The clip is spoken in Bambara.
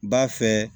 B'a fɛ